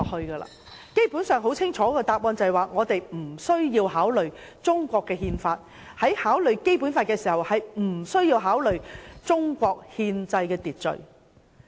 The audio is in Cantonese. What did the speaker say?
他們的答案很清楚，便是無須考慮《中國憲法》，在考慮《基本法》時無須考慮中國的憲制秩序。